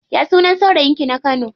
Ya sunan saurayin ki na kano?